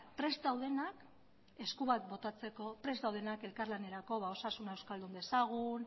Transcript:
prest daudenak esku bat botatzeko prest daudenak elkarlanerako osasuna euskaldun dezagun